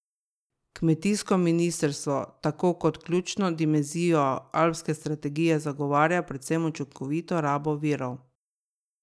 Kmetijsko ministrstvo tako kot ključno dimenzijo Alpske strategije zagovarja predvsem učinkovito rabo virov.